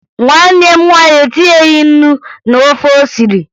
Nwanne m nwaanyị etinyeghi ńnú n'ofe o siri